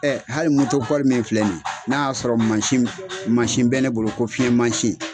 hali moto min filɛ nin, n'a y'a sɔrɔ mansin mansin bɛ ne bolo ko fiɲɛmansin